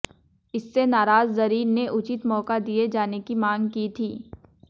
इससे नाराज जरीन ने उचित मौका दिए जाने की मांग की थी